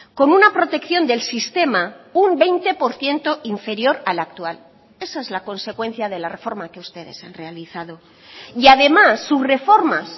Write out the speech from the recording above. con una protección del sistema un veinte por ciento inferior al actual esa es la consecuencia de la reforma que ustedes han realizado y además sus reformas